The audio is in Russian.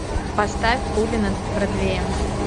поставь пули над бродвеем